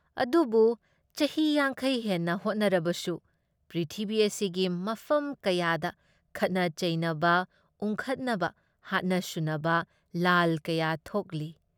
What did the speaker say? ꯑꯗꯨꯕꯨ ꯆꯍꯤ ꯌꯥꯡꯈꯩ ꯍꯦꯟꯅ ꯍꯣꯠꯅꯔꯕꯗꯁꯨ ꯄ꯭ꯔꯤꯊꯤꯕꯤ ꯑꯁꯤꯒꯤ ꯃꯐꯝ ꯀꯌꯥꯗ ꯈꯠꯅ ꯆꯩꯅꯕ, ꯎꯪꯈꯠꯅꯕ, ꯍꯥꯠꯅ ꯁꯨꯅꯕ, ꯂꯥꯜ ꯀꯌꯥ ꯊꯣꯛꯂꯤ ꯫